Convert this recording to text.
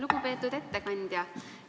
Lugupeetud ettekandja!